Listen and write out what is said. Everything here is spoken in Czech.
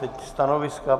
Teď stanoviska.